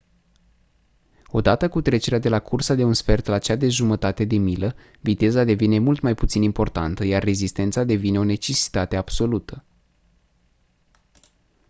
odată cu trecerea de la cursa de un sfert la cea de jumătate de milă viteza devine mult mai puțin importantă iar rezistența devine o necesitate absolută